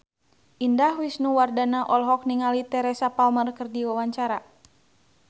Indah Wisnuwardana olohok ningali Teresa Palmer keur diwawancara